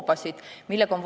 Istungi lõpp kell 15.52.